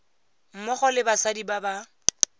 mmogo le basadi ba ba